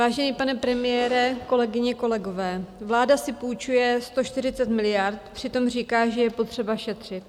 Vážený pane premiére, kolegyně, kolegové, vláda si půjčuje 140 miliard, přitom říká, že je potřeba šetřit.